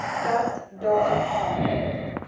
dat daar aan